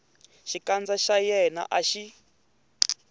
xikandza xa yena a xi